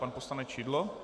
Pan poslanec Šidlo.